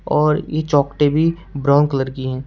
और ये चौखटे भी ब्राउन कलर की हैं।